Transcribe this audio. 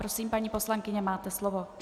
Prosím, paní poslankyně, máte slovo.